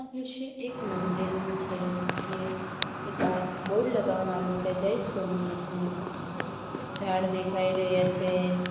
દ્રશ્ય એક મંદિરનું છે જે ની બાર બોર્ડ લગાવાનું આવેલું છે જય સોમનાથનું ઝાડ દેખાય રહ્યા છે.